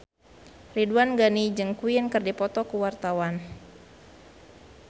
Ridwan Ghani jeung Queen keur dipoto ku wartawan